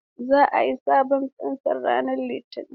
Zan sayi sabon fensir ranar Litinin.